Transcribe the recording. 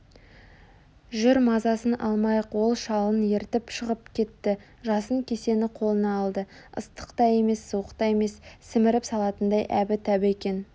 жүр мазасын алмайық ол шалын ертіп шығып кетті жасын кесені қолына алды ыстық та емес суық та емес сіміріп салатындай әбі-тәбі екен